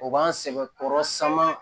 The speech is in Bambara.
O b'an sɛgɛn kɔrɔ saman